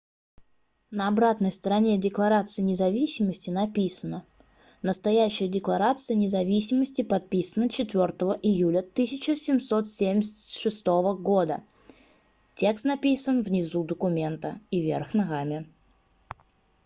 на обратной стороне декларации независимости написано настоящая декларация независимости подписана 4 июля 1776 года текст написан внизу документа и вверх ногами